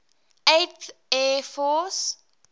eighth air force